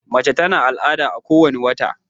mace ta na al'ada a ko wani wata